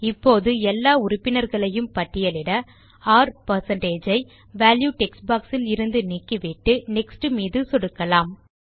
இப்போது எல்லா உறுப்பினர்களையும் பட்டியலிட R வால்யூ டெக்ஸ்ட் பாக்ஸ் இலிருந்து நீக்கிவிட்டு நெக்ஸ்ட் மீது சொடுக்கலாம்